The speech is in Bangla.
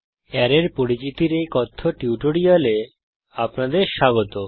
অ্যারের পরিচিতির এই কথ্য টিউটোরিয়ালে আপনাদের স্বাগত